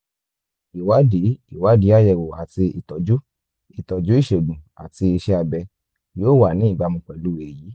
ìwádìí ìwádìí àyẹ̀wò àti ìtọ́jú ìtọ́jú ìṣègùn àti iṣẹ́ abẹ yóò wà ní ìbámu pẹ̀lú èyí